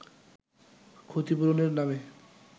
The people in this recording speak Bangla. ক্ষতিপূরণের নামে